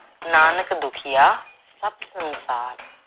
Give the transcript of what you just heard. ਨਾਨਕ ਦੁਖੀਆ ਸਭ ਸੰਸਾਰ